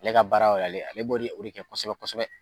Ale ka baara y'o ye, ale b'o, o de kɛ kosɛbɛ kosɛbɛ